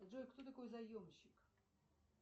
джой кто такой заемщик